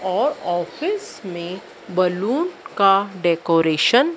और ऑफिस में बलून का डेकोरेशन --